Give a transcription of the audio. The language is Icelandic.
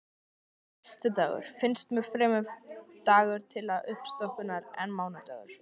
Föstudagur finnst mér fremur dagur til uppstokkunar en mánudagur.